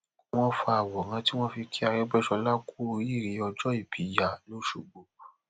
wọn fa àwòrán tí wọn fi kí arègbèsọlá kù oríire ọjọòbí ya lọsgbọ